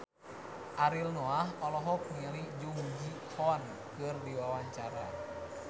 Ariel Noah olohok ningali Jung Ji Hoon keur diwawancara